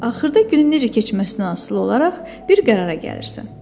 Axırda günün necə keçməsindən asılı olaraq bir qərara gəlirsən.